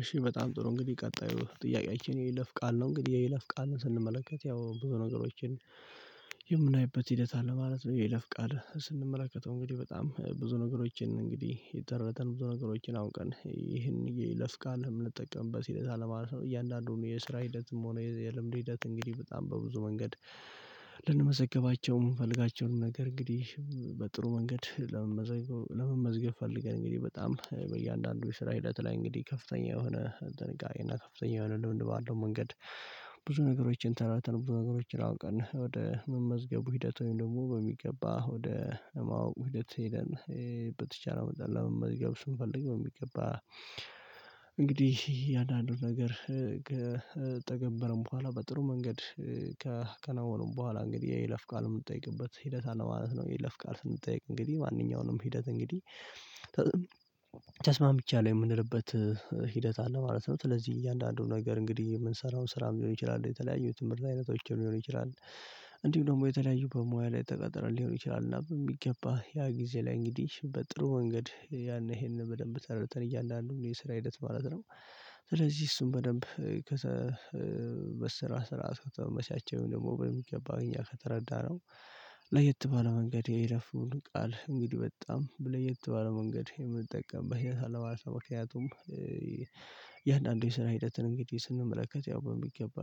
እሺ በጣም ጥሩ እንግዲህ ቀጣዩ ጥያቄያችን የይለፍ ቃል ነው። እንግዲህ የይለፍ ቃልን ስንመለከት ያው በነገሮችን የምናይበት ሂደት አለ ማለት ነው። የይለፍ የይለፍ ቃል ስንመለከተው እንግዲህ በጣም ብዙ ነገሮችን እንግዲህ ጠረተን ብዙ ነገሮችን አሁን ቀን ይሄን የይለፍ ቃል የምንጠቀምበት ሂደት ማለት ነው። እያንዳንዱን የስራ ሂደትም ሆኖ የልምድ ሂደት እንግዲህ በጣም በብዙ መንገድ። ልንመዘገባቸውም የምንፈልጋቸውን ነገር እንግዲህ በጥሩ መንገድ ለመመዝገብ ፈልገን እንግዲህ በጣም በእያንዳንዱ የስራ ህይወት ላይ እንግዲህ ከፍተኛ የሆነ ጥንቃቄ እና ከፍተኛ የሆነ ልምድ ባለው መንገድ። ብዙ ነገሮችን ተረድተን ብዙ ነገሮችን አውቀን ወደ መመዝገቡ ሂደቱን ደግሞ በሚገባ ወደ ማወቅ ሂደት ሂደን። በተቻለ መጠን ለመመዝገብ ስንፈልግ የሚገባ። እንግዲህ የአንዳንዱ ነገር ከተገበረም በኋላ በጥሩ መንገድ ከከነዋኑም በኋላ እንግዲህ የይለፍ ቃል የምትጠይቅበት ሂደት ነው ማለት ነው። የይለፍ ቃል ስንጠይቅ እንግዲህ ማንኛውንም ሂደት እንግዲህ ተስማምቼ አለው የምንልበት ሂደት አለ ማለት ነው። ስለዚህ እያንዳንዱ ነገር እንግዲህ የምንሰራው ስራም ሊሆን ይችላል የተለያዩ ትምህርት አይነቶችን ሊሆን ይችላል። እንዲሁ ደግሞ የተለያዩ በሙያ ላይ ተቀጥረን ሊሆን ይችላል እና በሚገባ ያ ጊዜ ላይ እንግዲህ በጥሩ መንገድ ያን ይሄንን በደንብ ተረግጠን እያለ አንዱ የስራ ሂደት ማለት ነው። ስለዚህ እሱን በደንብ ከተበሰራ ስራ አስከተመመሻቸውን ደግሞ በሚገባ እኛ ከተረዳነው። ለየት ባለ መንገድ የይለፉን ቃል እንግዲህ በጣም ብለህ የተባለ መንገድ የምንጠቀምበት ያንተ አለባሳ ምክንያቱም። የእያንዳንዱን ስራ ሂደትን እንግዲህ ስንመለከት ያው በሚገባ